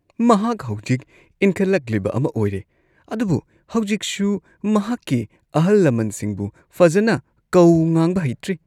ꯃꯍꯥꯛ ꯍꯧꯖꯤꯛ ꯏꯟꯈꯠꯂꯛꯂꯤꯕ ꯑꯃ ꯑꯣꯏꯔꯦ ꯑꯗꯨꯕꯨ ꯍꯧꯖꯤꯛꯁꯨ ꯃꯍꯥꯛꯀꯤ ꯑꯍꯜꯂꯃꯟꯁꯤꯡꯕꯨ ꯐꯖꯅ ꯀꯧ-ꯉꯥꯡꯕ ꯍꯩꯇ꯭ꯔꯤ꯫